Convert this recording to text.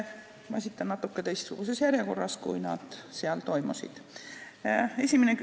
Ma esitan need natukene teistsuguses järjekorras, kui neid seal esitati.